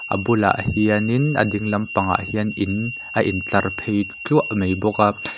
bulah hianin a ding lampang ah hian in a in tlar phei thluah mai bawk a.